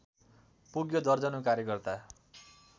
पुग्यो दर्जनौ कार्यकर्ता